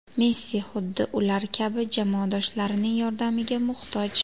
Messi xuddi ular kabi, jamoadoshlarining yordamiga muhtoj.